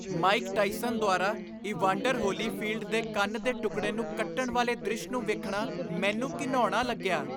Mic Tyson ਦੁਆਰਾ Evander Holyfield ਦੇ ਕੰਨ ਦੇ ਟੁਕੜੇ ਨੂੰ ਕੱਟਣ ਵਾਲੇ ਦ੍ਰਿਸ਼ ਨੂੰ ਵੇਖਣਾ ਮੈਨੂੰ ਘਿਣਾਉਣਾ ਲੱਗਿਆ।